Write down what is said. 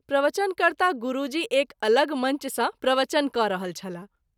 प्रवचन कर्ता गुरूजी एक अलग मंच सँ प्रवचन क’ रहल छलाह।